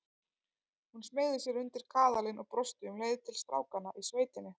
Hún smeygði sér undir kaðalinn og brosti um leið til strákanna í sveitinni.